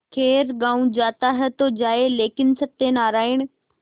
खैर गॉँव जाता है तो जाए लेकिन सत्यनारायण